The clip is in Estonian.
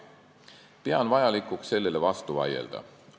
Pean vajalikuks sellele vastu vaielda.